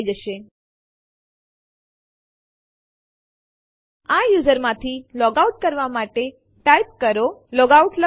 આ ફાઈલો હવે એ જોવા માટે કોપી થઇ ગઈ છે કે શ્રેષ્ઠ ડિરેક્ટરી વાસ્તવમાં અસ્તિત્વમાં છે